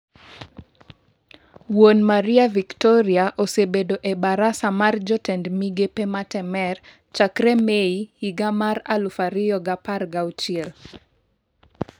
Wuon Maria Victoria osebedo e barasa mar jotend migepe ma Temer chakre Mei higa mar aluf ariyo gi apar gi auchiel.